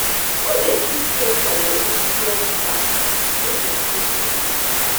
No dey give stranger your atm card make dem hold for you